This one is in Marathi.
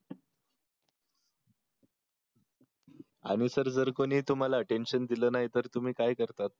आणि सर जर कोणी तुम्हाला अटेन्शन दिले नाही तर तुम्ही काय करतात